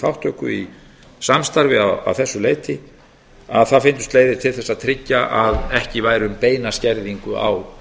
þátttöku í samstarfi að þessu leyti að það fyndust leiðir til þess að tryggja að ekki væri um beina skerðingu á